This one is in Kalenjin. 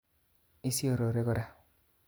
Isiorore kora